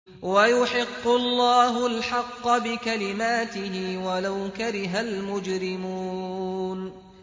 وَيُحِقُّ اللَّهُ الْحَقَّ بِكَلِمَاتِهِ وَلَوْ كَرِهَ الْمُجْرِمُونَ